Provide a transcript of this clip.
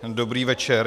Dobrý večer.